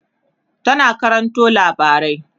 tana karanto labarai